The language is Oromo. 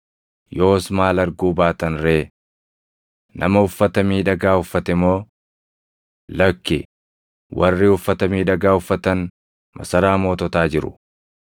Yoos maal arguu baatan ree? Nama uffata miidhagaa uffate moo? Lakki, warri uffata miidhagaa uffatan masaraa moototaa jiru.